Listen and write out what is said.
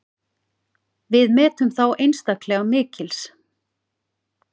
Við metum þá einstaklega mikils.